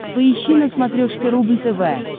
поищи на смотрешке рубль тв